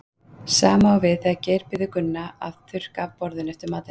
Sama á við þegar Geir biður Gunna að þurrka af borðinu eftir matinn.